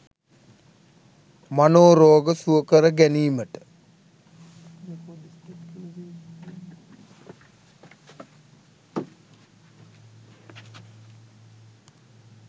මනෝරෝග සුවකර ගැනීමට